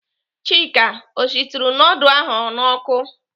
Chika ọ shituru nudul ahụ n'ọkụ?